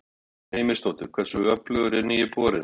Guðrún Heimisdóttir: Hversu öflugur er nýi borinn?